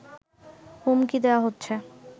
হুমকি দেয়াহচ্ছে